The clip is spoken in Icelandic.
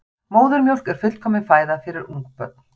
Móðurmjólk er fullkomin fæða fyrir ungbörn.